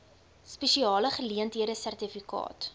spesiale geleenthede sertifikaat